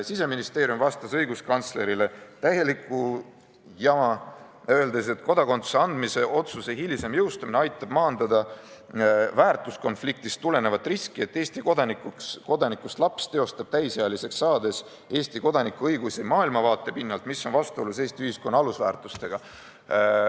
Siseministeerium vastas õiguskantslerile täielikku jama, öeldes, et kodakondsuse andmise otsuse hilisem jõustumine aitab maandada väärtuskonfliktist tulenevat riski, et Eesti kodanikust laps teostab täisealiseks saades Eesti kodaniku õigusi maailmavaate pinnalt, mis on vastuolus Eesti ühiskonna alusväärtustega.